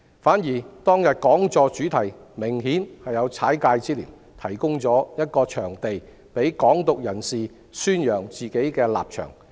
反之，當日講座的主題明顯有"踩界"之嫌，提供了一個場地讓"港獨"人士宣揚自己的立場。